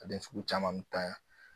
A den sugu caman bɛ tanya